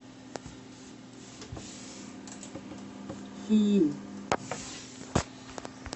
фильм